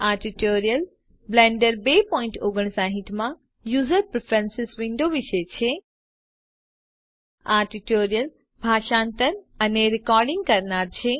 આ tutorial Blender 259 માં user preferences window વિશે છે